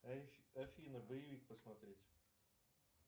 афина боевик посмотреть